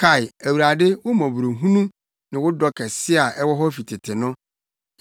Kae, Awurade, wo mmɔborɔhunu ne wo dɔ kɛse a ɛwɔ hɔ fi tete no.